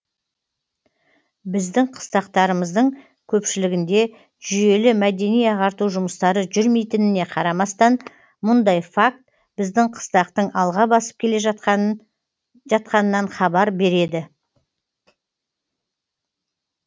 біздің қыстақтарымыздың көпшілігінде жүйелі мәдени ағарту жұмыстары жүрмейтініне қарамастан мұндай факт біздің қыстақтың алға басып келе жатқанынан хабар береді